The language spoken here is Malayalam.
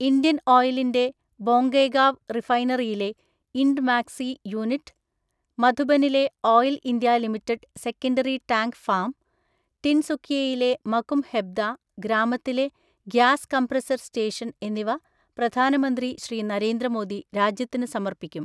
ഇന്ത്യൻ ഓയിലിന്റെ ബൊംഗൈഗാവ് റിഫൈനറിയിലെ ഇൻഡ്മാക്സി യൂണിറ്റ്, മധുബനിലെ oil India limited secondary tank farm, ടിൻസുകിയയിലെ മകും ഹെബ്ദ ഗ്രാമത്തിലെ ഗ്യാസ് കംപ്രസ്സർ സ്റ്റേഷൻ എന്നിവ പ്രധാനമന്ത്രി ശ്രീ. നരേന്ദ്ര മോദി രാജ്യത്തിന് സമർപ്പിക്കും.